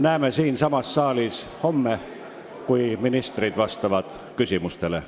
Näeme siinsamas saalis homme, kui ministrid vastavad küsimustele.